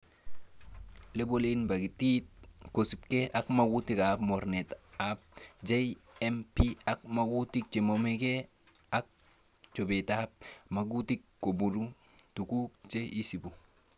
Lebolen pakitit kosiibge ak mogutik ab mornetab GMP,ak ngatutik chenomegee ak chobetab amitwogik koboru tuguk che isibu.